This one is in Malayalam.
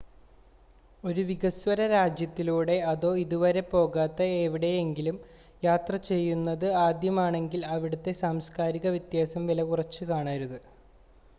ഒരു വികസ്വര രാജ്യത്തിലൂടെ അതോ ഇതുവരെ പോകാത്ത എവിടെ എങ്കിലും യാത്ര ചെയ്യുന്നത് ആദ്യമാണെങ്കിൽ അവിടുത്തെ സാംസ്കാരിക വ്യത്യാസം വിലകുറച്ച് കാണരുത്